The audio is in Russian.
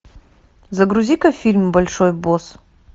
загрузи ка фильм большой босс